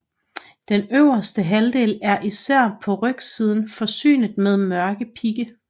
Den øverste halvdel er især på rygsiden forsynet med mørke pigge